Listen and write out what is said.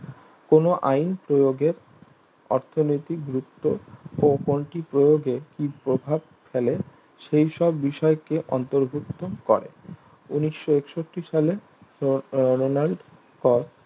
কোনো আইন প্রয়োগের অর্থনৈতিক বৃত্ত ও কোনটি প্রয়োগে কি প্রভাব ফেলে সেইসব বিষয়কে অন্তর্ভুক্ত করে ঊনিশো একষট্টি সালে উম অরণ্যং